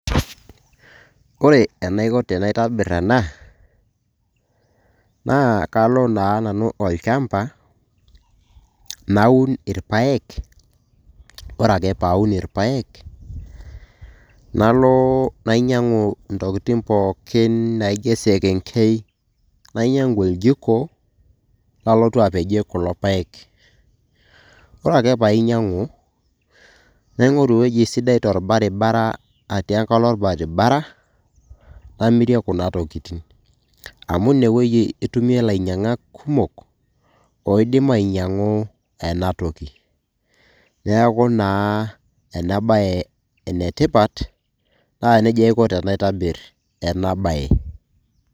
Ore enaiko tenaitobir ena naa kalo naa nanu olchamba naun irpaek, ore ake paun irpaek nalo nainyang'u ntokitin poikin naijo esekenkei, nainyang'u oljiko lalotu apejie kulo paek. Kore ake painyang'u naing'oru ewoji sidai torbaribara atii enkalo orbaribara namirie kuna tokitin. Amu ine wuoi itumie ilanyang'ak kumok oidim ainyang'u ena toki. Neeku naa ena baye ene tipat naa neja aiko tenaitobir ena baye.